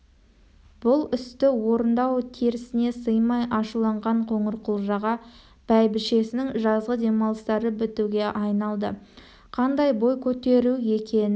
бұл істі орындау- терісіне сыймай ашуланған қоңырқұлжаға бәйбішесінің жазғы демалыстары бітуге айналды қандай бой көтеру екенін